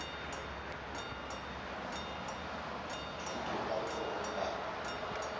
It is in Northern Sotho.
thuto ka letsogong la ka